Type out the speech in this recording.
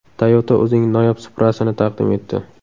Toyota o‘zining noyob Supra’sini taqdim etdi.